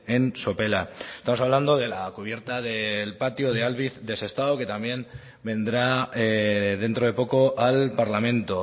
en sopela estamos hablando de la cubierta del patio de albiz de sestao que también vendrá dentro de poco al parlamento